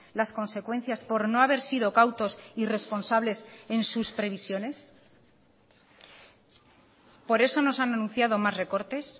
las consecuencias por no haber sido cautos y responsables en sus previsiones por eso nos han anunciado más recortes